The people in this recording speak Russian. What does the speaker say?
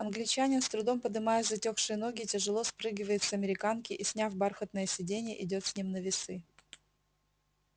англичанин с трудом подымая затёкшие ноги тяжело спрыгивает с американки и сняв бархатное сиденье идёт с ним на весы